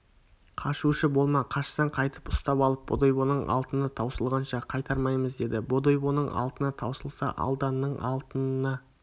қашушы болма қашсаң қайтып ұстап алып бодойбоның алтыны таусылғанша қайтармаймыз деді бодойбоның алтыны таусылса алданның алтынына